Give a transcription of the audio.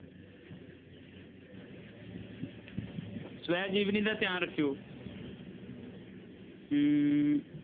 ਸਵੈ ਜੀਵਨੀ ਦਾ ਧਿਆਨ ਰੱਖਿਓ ਹਮ